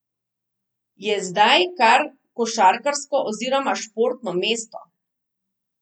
Je zdaj kar košarkarsko oziroma športno mesto.